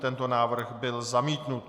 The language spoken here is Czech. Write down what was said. Tento návrh byl zamítnut.